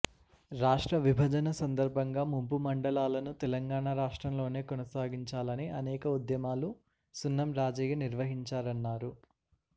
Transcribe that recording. రాష్ట్ర విభజన సంద ర్భంగా ముంపు మండలాలను తెలంగాణ రాష్ట్రంలోనే కొనసాగించాలని అనేక ఉద్యమాలు సున్నం రాజయ్య నిర్వహించారన్నారు